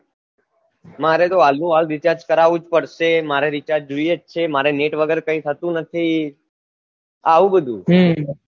મારે તો હાલ નું હાલ recharge કરવું જ પડશે મારે recharge જોઈએ છે મારે net વગર કઈ થતું નહી આવું બધું હમ